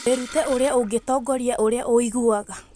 Wĩrute ũrĩa ũngĩtongoria ũrĩa ũiguaga